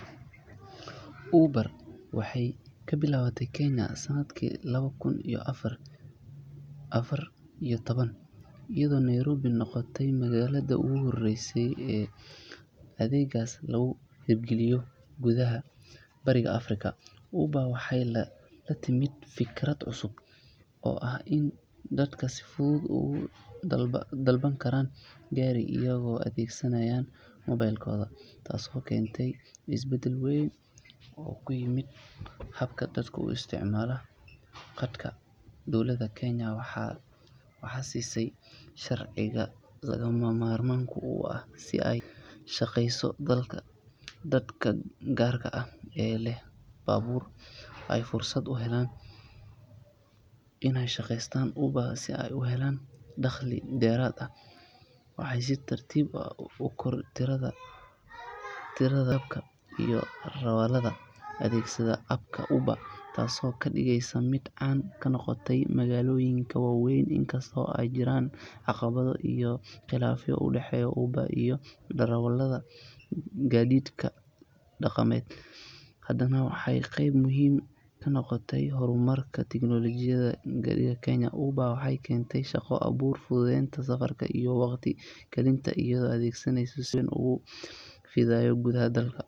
Uber waxay ka bilaabatay Kenya sanadkii laba kun iyo afar iyo toban iyadoo Nairobi noqotay magaalada ugu horreysa ee adeeggaas laga hirgeliyo gudaha Bariga Afrika. Uber waxay la timid fikrad cusub oo ah in dadku si fudud ugu dalban karaan gaari iyagoo adeegsanaya moobilkooda taasoo keentay isbeddel weyn oo ku yimid habka dadku u isticmaalaan gaadiidka. Dowladda Kenya waxay siisay sharciga lagama maarmaanka u ah si ay u shaqeyso halka dadka gaarka ah ee leh baabuur ay fursad u heleen in ay ka shaqeeyaan Uber si ay u helaan dakhli dheeraad ah. Waxaa si tartiib ah u kordhay tirada rakaabka iyo darawallada adeegsada app-ka Uber taasoo ka dhigeysay mid caan ka noqotay magaalooyinka waaweyn. Inkasta oo ay jireen caqabado iyo khilaafyo u dhexeeya Uber iyo darawallada gaadiidka dhaqameed, haddana waxay qayb muhiim ah ka noqotay horumarka tiknoolajiga ee gaadiidka Kenya. Uber waxay keentay shaqo abuur, fududeynta safarka iyo waqti kaydinta iyadoo adeeggeedu si weyn ugu fidayo gudaha dalka.